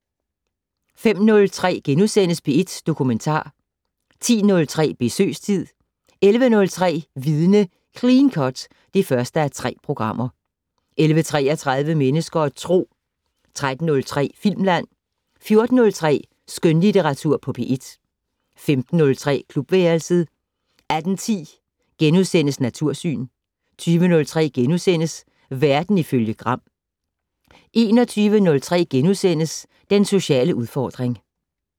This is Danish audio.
05:03: P1 Dokumentar * 10:03: Besøgstid 11:03: Vidne - Clean cut (1:3) 11:33: Mennesker og Tro 13:03: Filmland 14:03: Skønlitteratur på P1 15:03: Klubværelset 18:10: Natursyn * 20:03: Verden ifølge Gram * 21:03: Den sociale udfordring *